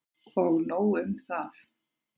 Og nóg um það!